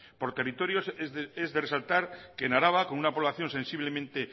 por territorios es de resaltar que en araba con una población sensiblemente